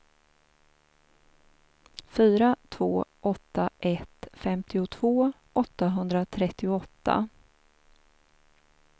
fyra två åtta ett femtiotvå åttahundratrettioåtta